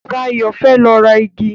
Ṣayọ̀ fẹ́ lọ ra igi.